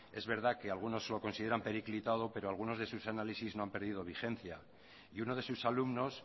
es verdad que algunos lo considera periclitado pero algunos de sus análisis no han perdido vigencia y uno de sus alumnos